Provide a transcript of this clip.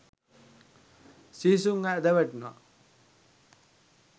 සිහිසුන්ව ඇද වැටුනා.